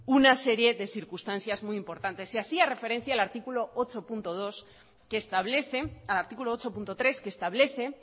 una serie de circunstancias muy importantes y hacía referencia al artículo ocho punto tres que establece